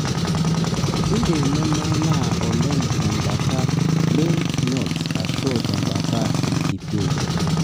kindim nememanaa oleng tempata lyph nodes ashu tembata ilkipei.